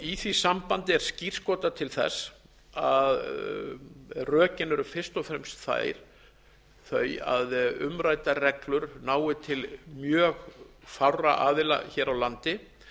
í því sambandi er skírskotað til þess að rökin eru fyrst og fremst þau að umræddar reglur nái til mjög fárra aðila hér á landi